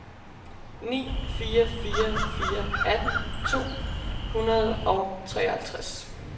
ni fire fire fire atten to hundrede og treoghalvtreds